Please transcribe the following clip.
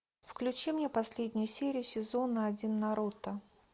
включи мне последнюю серию сезона один наруто